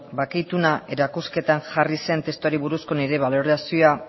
bake ituna erakusketan jarri zen testuari buruzko nire balorazioa